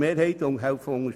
6, 7 und 9.